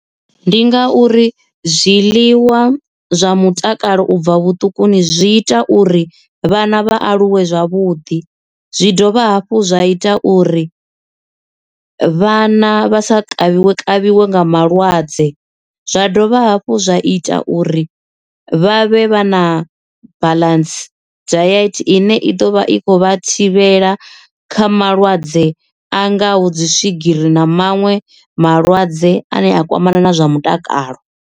ndi ngauri zwiḽiwa zwa mutakalo ubva vhuṱukuni zwi ita uri vhana vha aluwe zwavhuḓi zwi dovha hafhu zwa ita uri vhana vha sa kavhiwe kavhiwe nga malwadze zwa dovha hafhu zwa ita uri vha vhe vha na balance dayethe i ne i ḓo vha i khou vha thivhela kha malwadze a ngaho dzi swigiri na maṅwe malwadze ane a kwamana na zwa mutakalo.